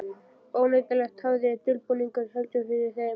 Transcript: Óneitanlega tafði dulbúningurinn heldur fyrir þeim.